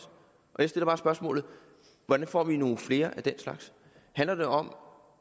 jeg stiller bare spørgsmålet hvordan får vi nogle flere af den slags handler det om